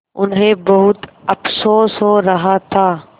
उन्हें बहुत अफसोस हो रहा था